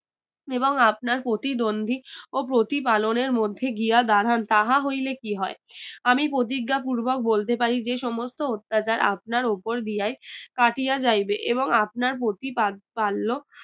এবং আপনার প্রতিদ্বন্দ্বি ও প্রতি পালনের মধ্যে গিয়া দাঁড়ান তাহা হইলে কি হয় আমি প্রতিজ্ঞা পূর্বক বলতে পারি যে সমস্ত অত্যাচার আপনার ওপর দিয়াই কাটিয়া যাইবে এবং আপনার প্রতিপাদ পালক